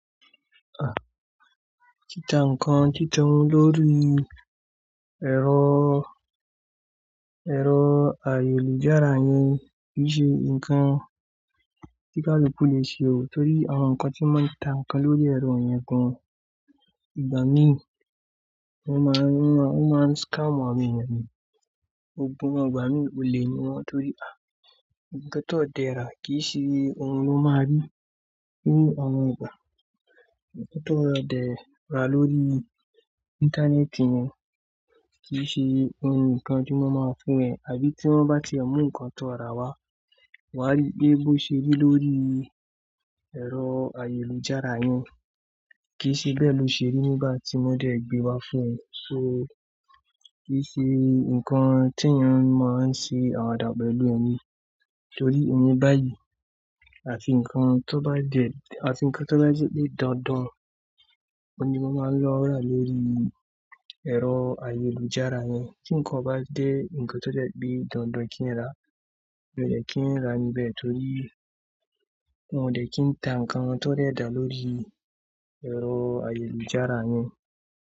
À, títa nnkan titun lórí ẹ̀rọ, ẹ̀rọ ayélujára ni kì í ṣe nǹkan tí ká lu ku le ṣe o. Nítorí àwọn nǹkan tí wọ́n máa ń ta ǹkan lórí ẹ̀rọ yẹn gan, ìgbà mí wọ́n máa ń, wọ́n máa ń scam àwọn ènìyàn ni. Gbogbo wọn ìgbà mí òle ni wọ́n torí, à, ohun tó dẹ rà kì í ṣe ohun ló máa rí nínú àwọn ìgbà. Ohun tó dẹ rà lórí íńtánẹ́ẹ̀tì yẹn kì í ṣe ohun nǹkan tí wọ́n máa fún ẹ. Àbí tí wọ́n bá ti ẹ mú nǹkan tó rà wá, wà á rí pe bó ṣe rí lórí ẹ̀rọ ayélujára yẹn. Kì í ṣe bẹ́ẹ̀ ló ṣe rí nígbà tí wọ́n dẹ̀ gbé wá fún ẹ. So kì í ṣe nǹkan tí èèyàn máa ń ṣe àwàdà pẹ̀lú ni. Torí emi báyìí àti nǹkan tó bá jẹ̀, àti nǹkan tó bá jẹ̀bi dańdan, òun ni wọ́n máa ń lọ rà lórí ẹ̀rọ ayélujára yẹn. Kí nǹkan bá jé, ohun tó jẹ̀bi dańdan kí n rá, mi ò dẹ̀ kí ń rà níbẹ̀ torí won o dẹ̀ kí ń ta nǹkan tó dẹ dà lórí ẹ̀rọ ayélujára yẹn.